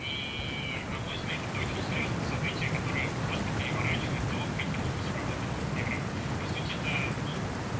и на мой взгляд это очень серьёзное событие которое просто переворачивает то каким образом работает инстаграм по сути это ну